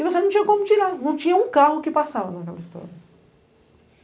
E você não tinha como tirar, não tinha um carro que passava naquela história.